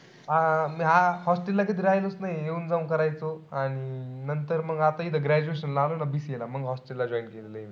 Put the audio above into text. हा मी hostel ला कधी राहीलोच नाई. येऊन-जाऊन करायचो. आणि नंतर मग आता इथं graduation ला आलो ना BCA ला. मंग hostel ला join केलं.